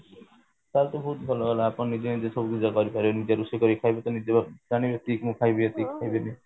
ଟା ହେଲେ ତ ବହୁତ ଭଲ ହେଲା ଆପଣ ନିଜେ ନିଜେ ସବୁ କରିପାରିବେ ନିଜେ ରୋଷେଇ କରି ଖାଇଲେ ତ ନିଜେ ଜାଣିବେ ଏତିକି ମୁଁ ଖାଇବି ଏତିକି ମୁଁ ଖାଇବିନି